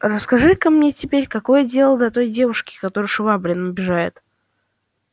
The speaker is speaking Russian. расскажи-ка мне теперь какое дело до той девушки которую швабрин обижает